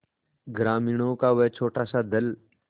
ग्रामीणों का वह छोटासा दल